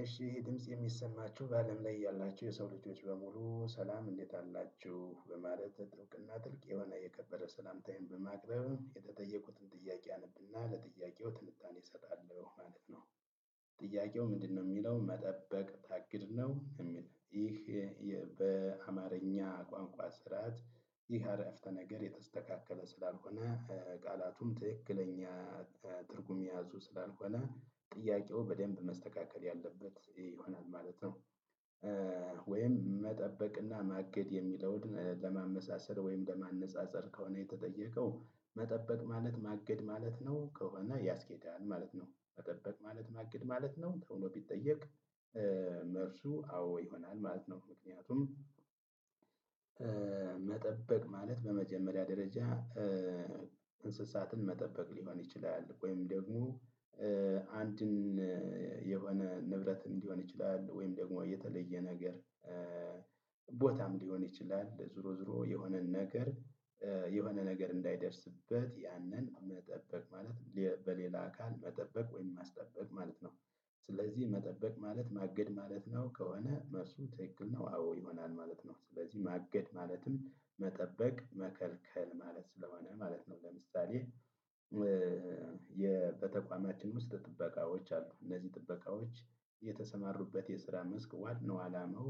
እሺ ድምጽ የሚሰማችሁ በአለም ላይ ያላችሁ የሰው ልጆች በሙሉ ሰላም እንዴት አላችሁ በማለት ጥልቅና ጥልቅ የሆነ የከበረ ሰላምታዬን በማቅረብ የተጠየኩትን ጥያቄ አነብና ለጥያቄው ትንታኔ እሰጣለሁ ማለት ነው። ጥያቄው ምንድነው የሚለውን መጠበቅ ታግድ ነው የሚል። ይህ በአማርኛ ቋንቋ ስራዓት ይህ አረፍተ ነገር የተስተካከለ ስላልሆነ ቃላቱም ትክክለኛ ትርጉም የያዙ ስላልሆነ ጥያቄው በደንብ መስተካከል ያለበት ይሆናል ማለት ነው። ወይም መጠበቅና ማገት የሚለውን ለማመሳሰል ወይም ለማነፃፀር ከሆነ የተጠየቀው መጠበቅ ማለት ማገድ ማለት ነው ከሆነ ያስኬዳል ማለት ነው። መገበቅ ማለት ማግድ ማለት ነው ብሎ ቢጠየቅ መልሱ አዎ ይሆናል ማለት ነው። ምክንያቱም መጠበቅ ማለት በመጀመሪያ ደረጃ እንስሳትን መጠበቅ ሊሆን ይችላል ወይም ደግሞ አንድን የሆነ ንብረትን ሊሆን ይችላል ወይም ደግሞ የተለየ ነገር ቦታም ሊሆን ይችላል ዝሮ ዝሮ የሆነን ነገር የሆነ ነገር እንዳይደርስበት ያንን መጠበቅ ማለት በሌላ አካል መጠበቅ ወይም ማስጠበቅ ማለት ነው። ስለዚህ መጠበቅ ማለት ማገድ ማለት ነው ከሆነ መልሱ ትክክል ነው አዎ ይሆናል ማለት ነው። ስለዚህ ማገድ ማለትም መጠበቅ መከልከል ማለት ስለሆነ ማለት ነው። ለምሳሌ በተቋማችን ውስጥ ጥበቃዎች አሉ። እነዚህ ጥበቃዎች የተሰማሩበት የስራ መስክ ዋናው ነው አላማው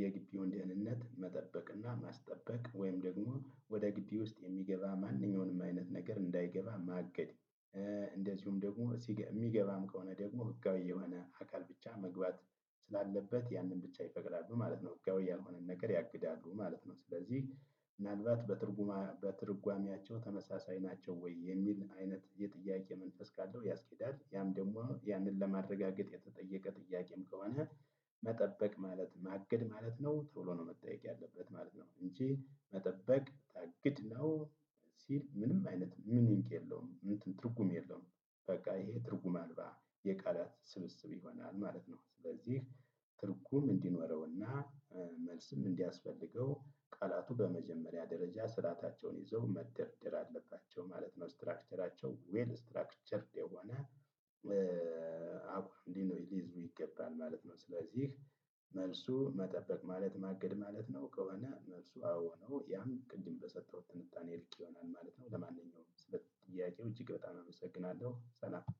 የግብውን ድህንነት መጠበቅና ማስጠበቅ ወይም ደግሞ ወደ ግቢ ውስጥ የሚገባ ማንኛውንም አይነት ነገር እንዳይገባ ማገድ። እንደዚሁም ደግሞ የሚገባም ከሆነ ደግሞ ህጋዊ የሆነ አካል ብቻ መግባት ስላለበት ያንን ብቻ ይፈቅዳሉ ማለት ነው። ህጋዊ ያልሆነን ነገር ያግዳሉ ማለት ነው። ስለዚህ ምናልባት በትርጉማ በትርጓሜያቸው ተመሳሳይ ናቸው ወይ የሚል አይነት የጥያቄ መንፈስ ካለው ያስኬዳል። ያም ደግሞ ያንን ለማረጋገጥ የተጠየቀ ጥያቄም ከሆነ መጠበቅ ማለት ማገድ ማለት ነው ቶሎ ነው መጠየቅ ያለበት ማለት ነው። እንጂ መጠበቅ ታግድ ነው ሲል ምንም አይነት ምን ይንቅ የለውም እንትን ትርጉም የለውም። በቃ ይሄ ትርጉም አልባ፣ የቃላት ስብስብ ይሆናል ማለት ነው። ስለዚህ ትርጉም እንዲኖረውና መልስም እንዲያስፈልገው ቃላቱ በመጀመሪያ ደረጃ ስርአታቸውን ይዘው መድርድር አለባቸው ማለት ነው። ስትራክቸራቸው ዌል ስትራክቸርድ የሆነ እንዲህ ሊይዙ ይገባል ማለት ነው። ስለዚህ መልሱ መጠበቅ ማለት ማገድ ማለት ነው ከሆነ መልሱ አዎ ነው። ያም ቅድም በሰጠሁት ትንታኔ ልቅ ይሆናል ማለት ነው። ለማንኛውም ስለ ጥያቄው እጅግ በጣም አመሰግናለሁ ሰላም።